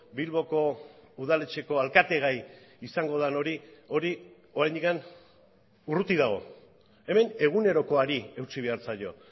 bilboko udaletxeko alkate gai izango den hori hori oraindik urruti dago hemen egunerokoari eutsi behar zaio